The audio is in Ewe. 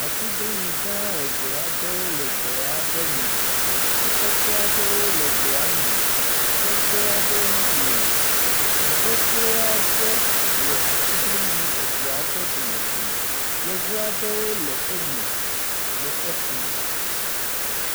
Atiglinyi gã eve aɖewo le egbe aɖe me, ati kɔkɔe aɖewo le gbea me, sɔgbewo hã li, ŋu xoxoe aɖe le atiglinyi eveawo ƒe domedome. Yevu aɖewo le eme le ekum.